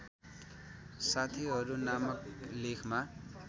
साथीहरू नामक लेखमा